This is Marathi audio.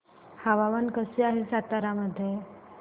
हवामान कसे आहे सातारा मध्ये